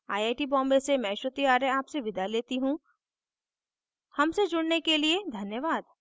I I T Bombay से मैं श्रुति आर्य आपसे विदा लेती हूँ हमसे जुड़ने के लिए धन्यवाद